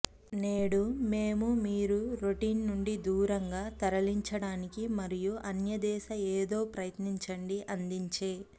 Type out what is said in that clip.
నేడు మేము మీరు రొటీన్ నుండి దూరంగా తరలించడానికి మరియు అన్యదేశ ఏదో ప్రయత్నించండి అందించే